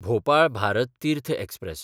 Bhopal Bharat Tirth express